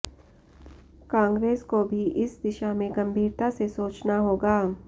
कांग्रेस को भी इस दिशा में गंभीरता से सोचना होगा